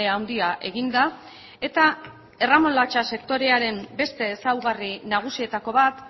handia egin da eta erremolatxa sektorearen beste ezaugarri nagusietako bat